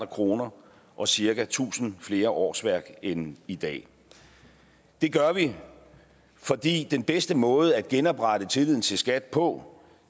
kroner og cirka tusind flere årsværk end i dag det gør vi fordi den bedste måde at genoprette tilliden til skat på